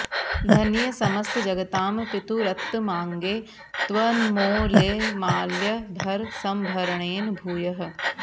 धन्ये समस्त जगतां पितुरुत्तमाङ्गे त्वन्मौलिमाल्य भर सम्भरणेन भूयः